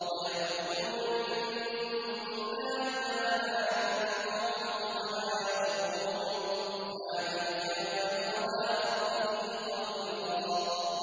وَيَعْبُدُونَ مِن دُونِ اللَّهِ مَا لَا يَنفَعُهُمْ وَلَا يَضُرُّهُمْ ۗ وَكَانَ الْكَافِرُ عَلَىٰ رَبِّهِ ظَهِيرًا